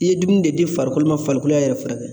I ye dumuni de di farikolo ma farikolo y'a yɛrɛ furakɛ.